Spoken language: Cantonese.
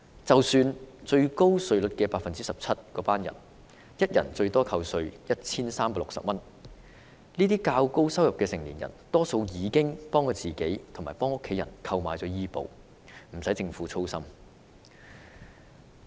即使是達到最高 17% 稅階的市民，每人最多亦只可節省 1,360 元稅款，但這些收入較高的市民大多已經替自己和家人購買醫保，不用政府操心。